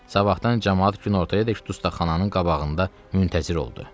Sabahdan camaat günortayadək dustaqxananın qabağında müntəzir oldu.